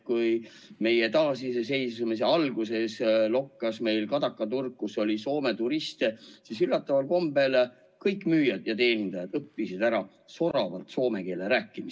Kui taasiseseisvumise alguses lokkas meil Kadaka turg, kus oli Soome turiste, siis üllataval kombel kõik müüjad ja teenindajad õppisid soravalt soome keelt rääkima.